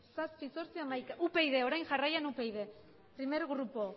zazpi zortzi hamaika upyd orain jarraian upyd primer grupo